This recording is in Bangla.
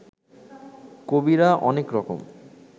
কবিরা অনেক রকম